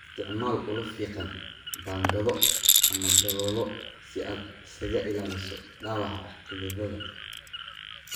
Isticmaal ulo fiiqan, baangado ama daloolo si aad isaga ilaaliso dhaawaca xididada.